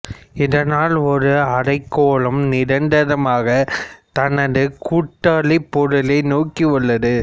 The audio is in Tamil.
இதனால் ஒரு அரைக்கோளம் நிரந்தரமாக தனது கூட்டாளிப் பொருளை நோக்கி உள்ளது